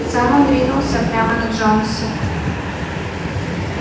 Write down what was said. сам он ринулся прямо на джонса